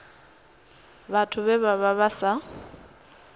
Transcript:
vhathu vhe vha vha sa